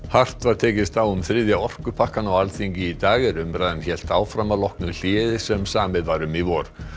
hart var tekist á um þriðja orkupakkann á Alþingi í dag er umræðan hélt áfram að loknu hléi sem samið var um í vor